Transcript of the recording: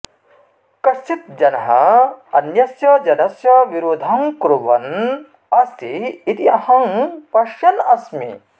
कश्चित् जनः अन्यस्य जनस्य विरोधं कुर्वन् अस्ति इति अहं पश्यन् अस्मि